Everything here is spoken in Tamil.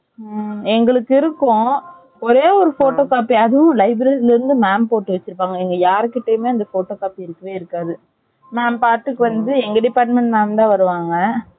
ம்ம் எங்களுக்கு இருக்கும் ஒரே ஒரு photo Copy அதுவும் library ல இருந்து mam போட்டு வச்சிருப்பாங்க எங்க யாருகிட்டயும் அந்த photo Copy இருக்கவே இருக்காது நான் பாத்துட்டு வந்து எங்க department mam தான் வருவாங்க